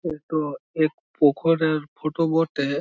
এ টো এক পুখুরের ফটো বটে-এ --